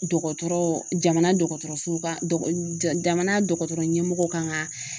Dɔgɔtɔrɔ jamana dɔgɔtɔrɔso kan jamana dɔgɔtɔrɔ ɲɛmɔgɔw kan ka